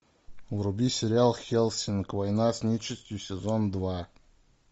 вруби сериал хеллсинг война с нечистью сезон два